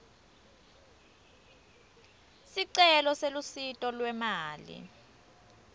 sicelo selusito lwemali